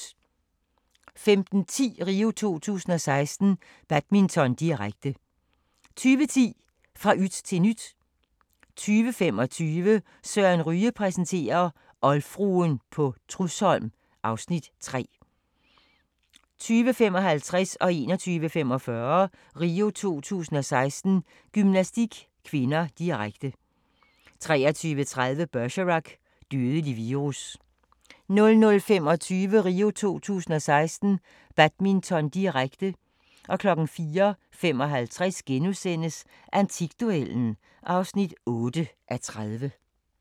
15:10: RIO 2016: Badminton, direkte 20:10: Fra yt til nyt 20:25: Søren Ryge præsenterer - oldfruen på Trudsholm (Afs. 3) 20:55: RIO 2016: Gymnastik (k), direkte 21:45: RIO 2016: Gymnastik (k), direkte 23:30: Bergerac: Dødelig virus 00:25: RIO 2016: Badminton, direkte, direkte 04:55: Antikduellen (8:30)*